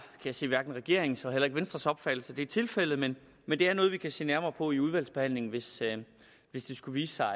jeg sige hverken regeringens eller venstres opfattelse at det er tilfældet men men det er noget vi kan se nærmere på i udvalgsbehandlingen hvis hvis det skulle vise sig